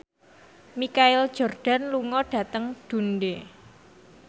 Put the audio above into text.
Michael Jordan lunga dhateng Dundee